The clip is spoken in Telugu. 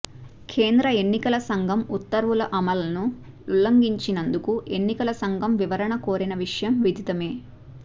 కేంద్ర ఎన్నికల సంఘం ఉత్తర్వుల అమలుని ఉల్లంఘించినందుకు ఎన్నికల సంఘం వివరణ కోరిన విషయం విదితమే